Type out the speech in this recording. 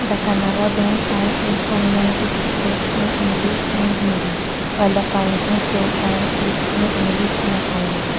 the kannada being sign is prominently displayed in english and hindi while the furnishing store sign is in english and asamis.